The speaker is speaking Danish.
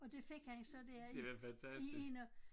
Og det fik han så der i i 1 og